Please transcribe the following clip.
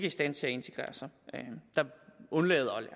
i stand til at integrere sig der undlader